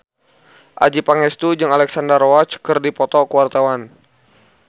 Adjie Pangestu jeung Alexandra Roach keur dipoto ku wartawan